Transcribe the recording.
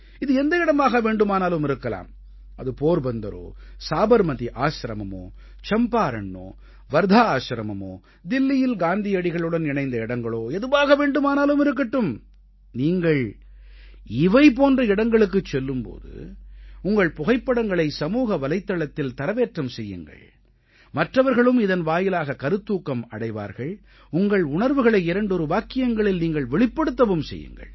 இது எந்த இடமாக வேண்டுமானாலும் இருக்கலாம் அது போர்பந்தரோ சாபர்மதி ஆசிரமமோ சம்பாரண்ணோ வர்த்தா ஆசிரமமோ தில்லியில் காந்தியடிகளுடன் இணைந்த இடங்களோ எதுவாக வேண்டுமானாலும் இருக்கட்டும் நீங்கள் இவை போன்ற இடங்களுக்குச் செல்லும் போது உங்கள் புகைப்படங்களை சமூக வலைத்தளத்தில் தரவேற்றம் செய்யுங்கள் மற்றவர்களும் இதன்வாயிலாக கருத்தூக்கம் அடைவார்கள் உங்கள் உணர்வுகளை இரண்டொரு வாக்கியங்களில் நீங்கள் வெளிப்படுத்தவும் செய்யுங்கள்